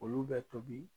Olu bɛ tobi